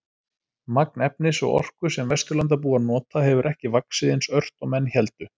Magn efnis og orku sem Vesturlandabúar nota hefur ekki vaxið eins ört og menn héldu.